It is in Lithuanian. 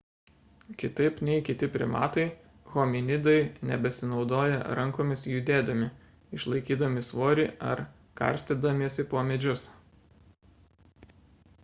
kitaip nei kiti primatai hominidai nebesinaudoja rankomis judėdami išlaikydami svorį ar karstydamiesi po medžius